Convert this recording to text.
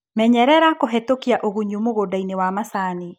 Menyerera kũhetũkia ũgunyu mũgundainĩ wa macani.